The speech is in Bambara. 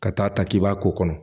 Ka taa ta k'i b'a ko kɔnɔ